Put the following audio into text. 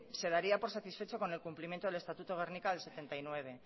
se daría por satisfecho con el cumplimiento del estatuto de gernika del mil novecientos setenta y nueve